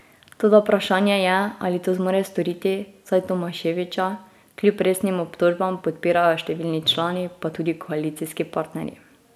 Toda vprašanje je, ali to zmore storiti, saj Tomaševića kljub resnim obtožbam podpirajo številni člani pa tudi koalicijski partnerji.